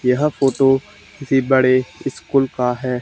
यह फोटो किसी बड़े स्कूल का है।